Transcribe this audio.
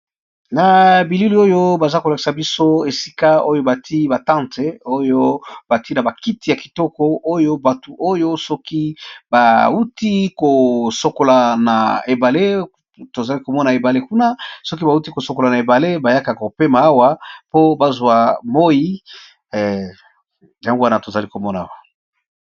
Na bilili oyo baza kolakisa biso esika oyo bati batante oyo bati na bakiti ya kitoko oyo batu oyo soki bauti kosokola na ebale tozali komona ebale kuna soki bauti kosokola na ebale bayakaka kopema awa po bazwa moi yango wana tozali komona.